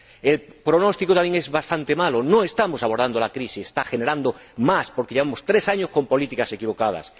El pronóstico también es bastante malo no estamos abordando bien la crisis, que está generando más pobreza porque llevamos tres años con políticas equivocadas.